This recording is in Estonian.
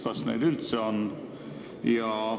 Kas neid üldse on?